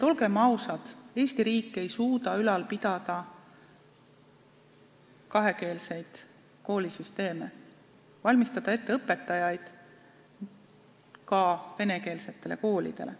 Olgem ausad, Eesti riik ei suuda ülal pidada kakskeelseid koolisüsteeme, valmistada ette õpetajaid ka venekeelsetele koolidele.